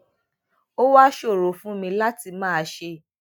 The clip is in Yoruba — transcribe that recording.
ó wá ṣòro fún mi láti máa ṣe